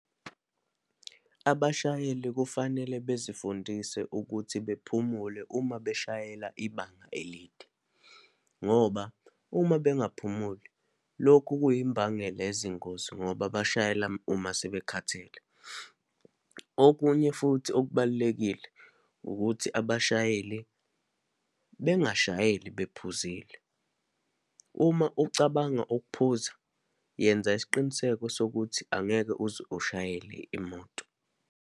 Abashayeli kufanele bezifundise ukuthi bephumule uma beshayela ibanga elide, ngoba uma bengaphumuli, lokhu kuyimbangela yezingozi ngoba bashayela uma sebekhathele. Okunye futhi okubalulekile, ukuthi abashayeli bengashayeli bephuzile. Uma ucabanga ukuphuza, yenza isiqiniseko sokuthi angeke uze ushayele imoto.